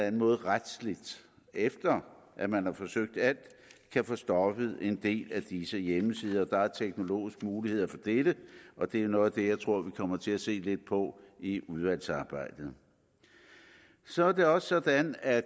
en måde retsligt efter at man har forsøgt alt kan få stoppet en del af disse hjemmesider der er teknologiske muligheder for dette og det er noget af det jeg tror vi kommer til at se lidt på i udvalgsarbejdet så er det også sådan at